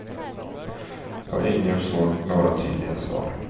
Och ingen får några tydliga svar.